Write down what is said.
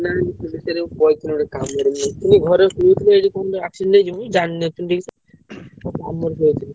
ନାଇଁ ମୁଁ ପଳେଇଥିଲି ଗୋଟେ କାମ ରେ ଶୁଣିଥିଲି ଘରେ ଗୋଟେ accident ହେଇଛି ବୋଲି।